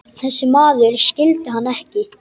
Þessi maður skildi hann ekki.